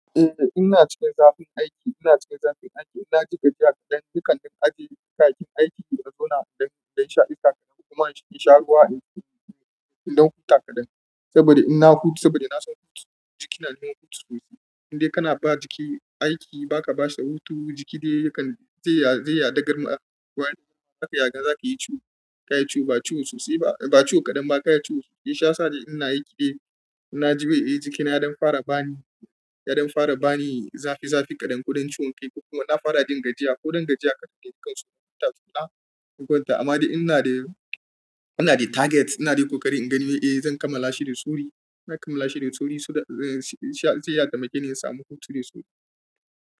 Eh ina cikin zafin aiki, ina cikin zafin aiki. Ina jika jiya kaɗan, ni kan ɗan ajiye kayakin aiki a zona dan, ɗan sha iska kaɗan kuma in sha ruwa, in, in, in, ɗan huta kaɗan. Saboda in na huta, saboda na san jikina yina son hutu sosai. Indai kana ba jiki aiki ba ka bashi hutu, jiki dai yakan zai ya, zai yaɗa garma. Wani lokaci yakan zaki yi ciwo, kayi ciwo ba ciwo sosai ba, ba ciwo kaɗan ba kayi ciwo sosai. Shiyasa in ina aiki dai, na ji bai yi jikina dan fara bani, ya ɗan fara bani zafi zafi kaɗan ko ɗan ciwon kai ko kuma na fara jin gajiya ko dangajiya kaɗan dai kan so in huta kula. Ko wata amma dai ina da, ina da target ina da ƙoƙari in gani eh zan kammala shi da sauri. Zan kammala shi da sauri so that, eh, zai iya taimakeni in samu hutu da sauri.